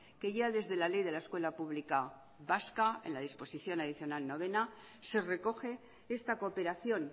que ya desde la ley de la escuela pública vasca en la disposición adicional novena se recoge esta cooperación